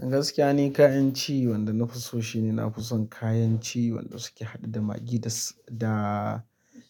Gaskiya ni, kayan ci wanda na fi so shi ne na fi son kayan ci wanda suke haɗa da Maggi da,